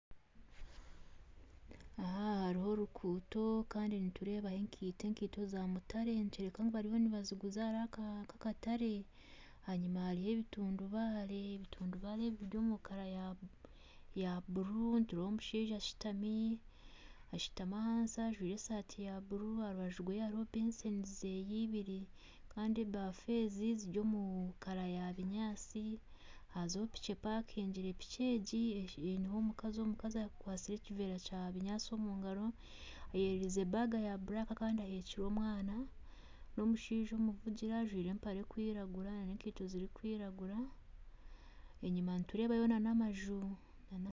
Aha hariho orukuuto Kandi nitureebaho enkaito ,enkaito za mutare nikireebeka bariho nibaziguza hariho nkakatare enyuma hariho ebitundubaare biri omurangi ya bururu ,omushaija ashutami ahansi ajwaire esaati ya bururu aharubaju rwe hariho ebaafu ibiri Kandi ebafu ezi ziri omurangi ya kinyatsi hazaho piki epakingire piki egi hazaho omukazi akwatsire ekiveera Kya kinyatsi omungaro akyererize enshaho erikwiragura Kandi aheekire omwana n'omushaija omuvugire ajwaire empare erikwiragura nana enkaito nana enkaito zirikwiragura enyuma hariyo amaju.